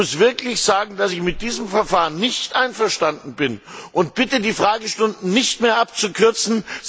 Ich muss wirklich sagen, dass ich mit diesem Verfahren nicht einverstanden bin und bitte, die Fragestunden nicht mehr abzukürzen.